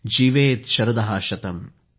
जीवेत शरदः शतम्